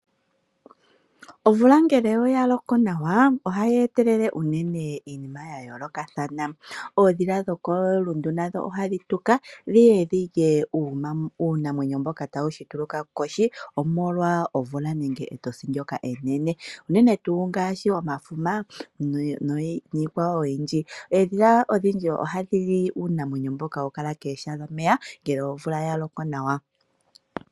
Ovula ngele oya loko nawa, oha i etelele unene iinima ya yayoolokathana. Oodhila dhokoluti nadho ohadhi tuka dhiye dhilye uunamwenyo mboka ta wu shituluka kohi omolwa omvula nenge etosi ndyoka enene. Unene tuu ngaashi omafuma niikwawo oyindji. Eedhila odhindji oha dhi li uunamwenyo mboka ha wu kala kooha dhomeya ngele omvula ya loko nawa.